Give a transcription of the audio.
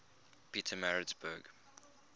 pietermaritzburg